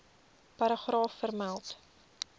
paragraaf vermeld